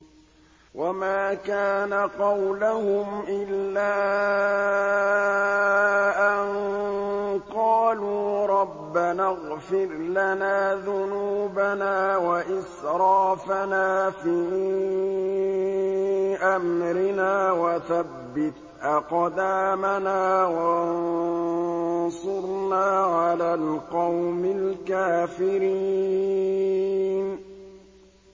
وَمَا كَانَ قَوْلَهُمْ إِلَّا أَن قَالُوا رَبَّنَا اغْفِرْ لَنَا ذُنُوبَنَا وَإِسْرَافَنَا فِي أَمْرِنَا وَثَبِّتْ أَقْدَامَنَا وَانصُرْنَا عَلَى الْقَوْمِ الْكَافِرِينَ